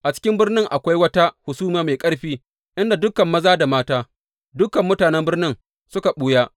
A cikin birnin, akwai wata hasumiya mai ƙarfi, inda dukan maza da mata, dukan mutanen birnin, suka ɓuya.